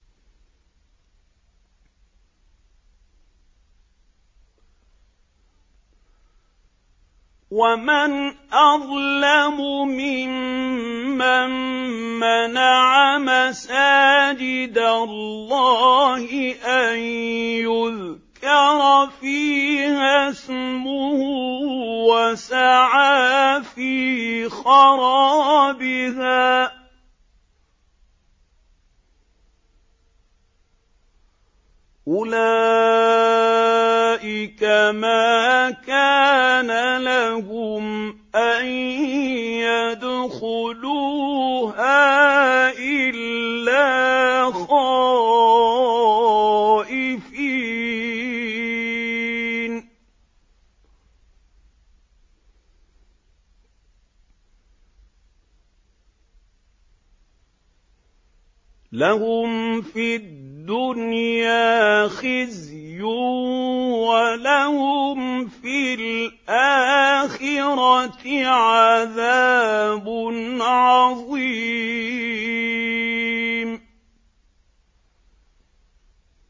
وَمَنْ أَظْلَمُ مِمَّن مَّنَعَ مَسَاجِدَ اللَّهِ أَن يُذْكَرَ فِيهَا اسْمُهُ وَسَعَىٰ فِي خَرَابِهَا ۚ أُولَٰئِكَ مَا كَانَ لَهُمْ أَن يَدْخُلُوهَا إِلَّا خَائِفِينَ ۚ لَهُمْ فِي الدُّنْيَا خِزْيٌ وَلَهُمْ فِي الْآخِرَةِ عَذَابٌ عَظِيمٌ